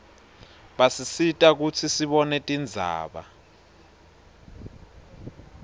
basisita kutsi sibone tindzaba